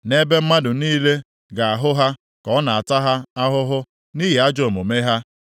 Nʼebe mmadụ niile ga-ahụ ha ka ọ na-ata ha ahụhụ nʼihi ajọ omume ha,